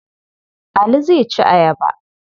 Ali zai ci ayaba.